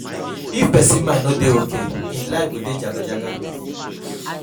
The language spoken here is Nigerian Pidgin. If persin mind no de okay, im life go de jaga jaga